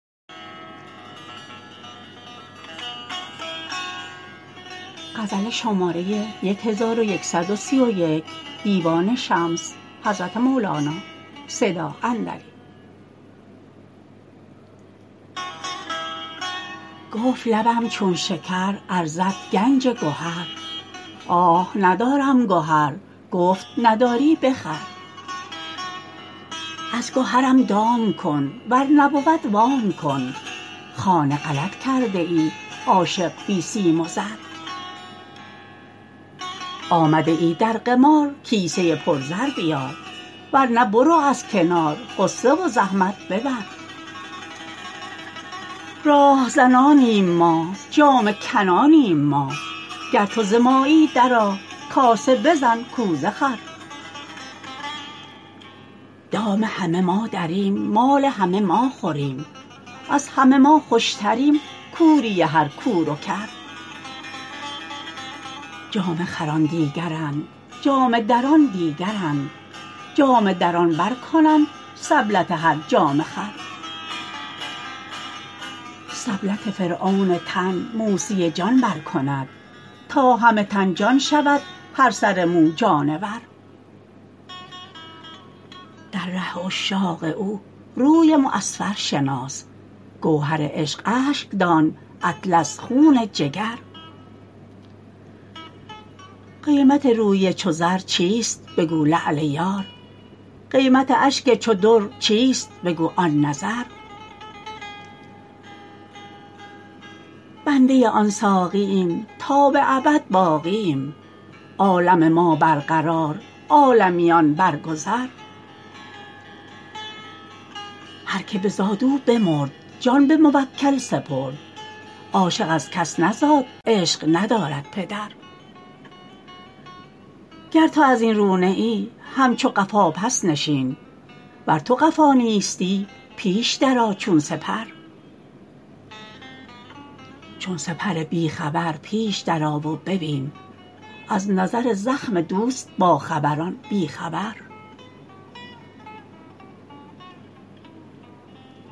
گفت لبم چون شکر ارزد گنج گهر آه ندارم گهر گفت نداری بخر از گهرم دام کن ور نبود وام کن خانه غلط کرده ای عاشق بی سیم و زر آمده ای در قمار کیسه پرزر بیار ور نه برو از کنار غصه و زحمت ببر راه زنانیم ما جامه کنانیم ما گر تو ز مایی درآ کاسه بزن کوزه خور دام همه ما دریم مال همه ما خوریم از همه ما خوشتریم کوری هر کور و کر جامه خران دیگرند جامه دران دیگرند جامه دران برکنند سبلت هر جامه خر سبلت فرعون تن موسی جان برکند تا همه تن جان شود هر سر مو جانور در ره عشاق او روی معصفر شناس گوهر عشق اشک دان اطلس خون جگر قیمت روی چو زر چیست بگو لعل یار قیمت اشک چو در چیست بگو آن نظر بنده آن ساقیم تا به ابد باقیم عالم ما برقرار عالمیان برگذر هر کی بزاد او بمرد جان به موکل سپرد عاشق از کس نزاد عشق ندارد پدر گر تو از این رو نه ای همچو قفا پس نشین ور تو قفا نیستی پیش درآ چون سپر چون سپر بی خبر پیش درآ و ببین از نظر زخم دوست باخبران بی خبر